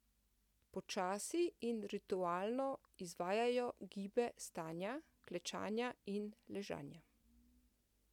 Počasi in ritualno izvajajo gibe stanja, klečanja in ležanja.